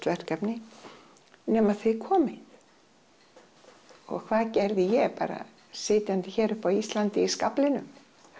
verkefni nema þið komið og hvað gerði ég ég bara sitjandi hér uppá Íslandi í skaflinum